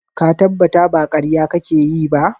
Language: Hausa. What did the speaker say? Ka tabbata ba ƙarya kake yi ba?